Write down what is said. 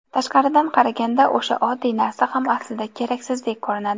Tashqaridan qaraganda o‘sha oddiy narsa ham aslida keraksizdek ko‘rinadi.